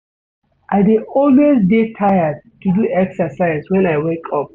I dey always dey tired to do exercise wen I wake up.